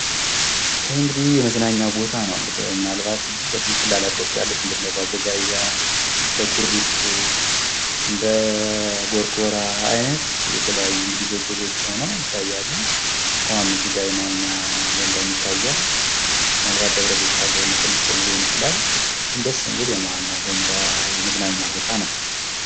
ይህ እንግዲህ የመዝናኛ ቦታ ነው። ምናልባት በትክክል ላላዉቀዉ እችላለሁ፥ ልክ እንደ ባቦጋያ፣ እንደ ኩሪፍቱ፣ እንደ ጎርጎራ አይነት የተለያዩ እንግዲህ ጎጆ ጎጆ ሁነዉ ይታያሉ፤ ዉሃም እዚጋ የመዋኛ ገንዳም ይታያል ምናልባት ደብረዘይት ካለ የሞኮነንሺቶም ሊሆን ይቺላል፤ ግን ደስ የሚል የመዋኛ የመዝናኛ ቦታ ነዉ ።